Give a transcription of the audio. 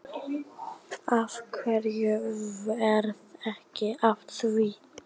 Af hverju varð ekki af því?